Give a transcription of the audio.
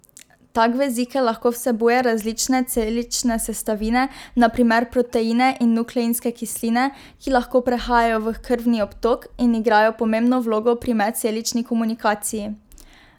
Tak vezikel lahko vsebuje različne celične sestavine, na primer proteine in nukleinske kisline, ki lahko prehajajo v krvni obtok in igrajo pomembno vlogo pri medcelični komunikaciji.